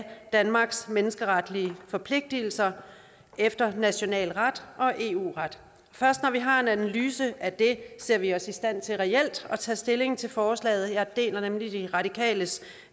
danmarks menneskeretlige forpligtelser efter national ret og eu ret først når vi har en analyse af det ser vi os i stand til reelt at tage stilling til forslaget jeg deler nemlig de radikales